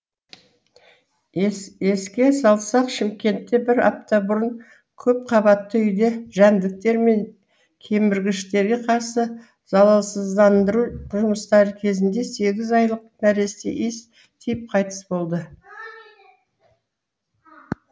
еске салсақ шымкентте бір апта бұрын көпқабатты үйде жәндіктер мен кеміргіштерге қарсы залалсыздандыру жұмыстары кезінде сегіз айлық нәресте иіс тиіп қайтыс болды